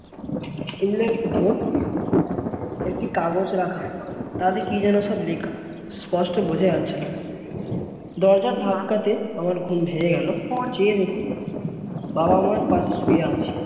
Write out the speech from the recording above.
table এর উপর একটি কাগজ রাখা তাতে কি যেন সব লেখা স্পষ্ট বোঝা যাচ্ছে না দরজার ধাক্কাতে আমার ঘুম ভেঙ্গে গেল যেয়ে দেখি বাবা-মার পাশে শুয়ে আছি